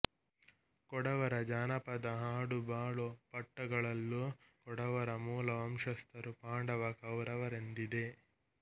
ಕೊಡವರ ಜಾನಪದ ಹಾಡು ಬಾಳೋ ಪಾಟ್ಟ್ಗಳಲ್ಲೂ ಕೊಡವರ ಮೂಲ ವಂಶಸ್ಥರು ಪಾಂಡವಕೌರವರೆಂದಿದೆ